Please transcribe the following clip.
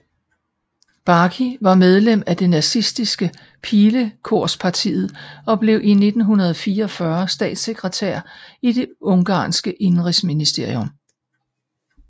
Baky var medlem af det nazistiske Pilekorspartiet og blev i 1944 statssekretær i det ungarske indenrigsministerium